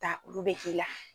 taa olu bɛ k'i la.